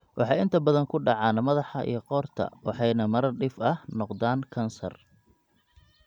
Waxay inta badan ku dhacaan madaxa iyo qoorta waxayna marar dhif ah noqdaan kansar (malignantika).